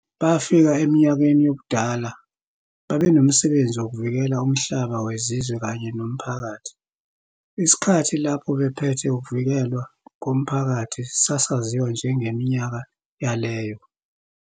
Bafika eminyakeni yobudala, babenomsebenzi wokuvikela umhlaba wezizwe kanye nomphakathi, isikhathi lapho babephethe ukuvikelwa komphakathi sasaziwa njengeminyaka yaleyo.